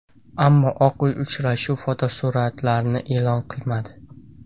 Ammo Oq Uy uchrashuv fotosuratlarini e’lon qilmadi.